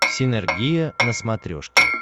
синергия на смотрешке